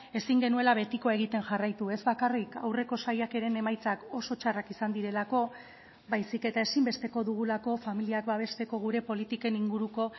ezin genuela betikoa egiten jarraitu ez bakarrik aurreko saiakeren emaitzak oso txarrak izan direlako baizik eta ezinbesteko dugulako familiak babesteko gure politiken inguruko